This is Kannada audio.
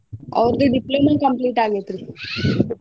ಅವರ್ದು diploma complete ಆಗೇತ್ರಿ.